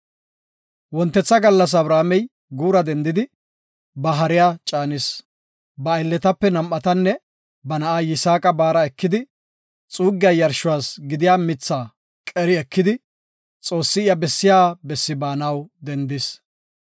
Wontetha gallas Abrahaamey guura dendidi, ba hariya caanis. Ba aylletape nam7atanne ba na7a Yisaaqa baara ekidi, xuussa yarshuwas gidiya mitha qeri ekidi, Xoossi iya bessiya bessi baanaw dendis.